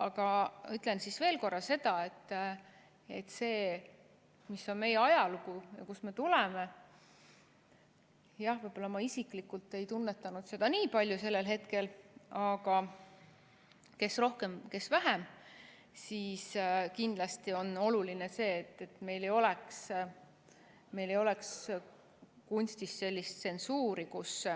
Ütlen veel korra, et arvestades seda, milline on meie ajalugu, kust me tuleme – jah, võib-olla ma isiklikult ei tunnetanud seda nii palju sellel hetkel, aga kes rohkem, kes vähem –, siis kindlasti on oluline, et meil ei oleks kunstis sellist tsensuuri, kus